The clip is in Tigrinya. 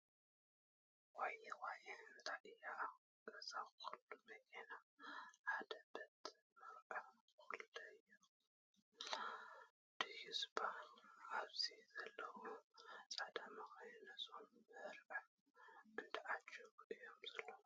ዋየ! ዋየ! እንታይ እያ እዛ ኩላ መኪና ሓደ ብትምርዖት ኩሉን ይኩሓላ ድዩ ዝበሃል? ኣብዚ ዘለዋ ፃዕዱ መካይን ንዞም መርዑ እንዳዓጀቡ እዮም ዘለው።